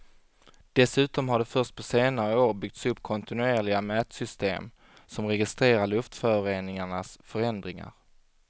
Dessutom har det först på senare år byggts upp kontinuerliga mätsystem som registrerar luftföroreningarnas förändringar.